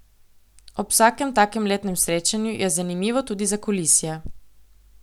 Ob vsakem takem letnem srečanju je zanimivo tudi zakulisje.